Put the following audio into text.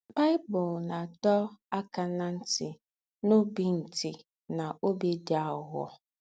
Baị́bụ̀l ná-àdọ̀ ákà ná ńtì ná óbì ńtì ná óbì dì àghụ̀ghọ̀.